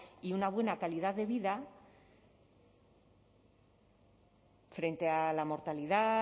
y una buena calidad de vida frente a la mortalidad